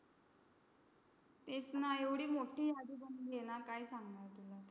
तेच ना. एवढी मोठी यादी बनली आहे ना, काय सांगणार तुला.